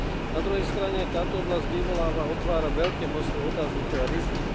Na druhej strane táto oblasť vyvoláva, otvára veľké množstvo otáznikov a rizík.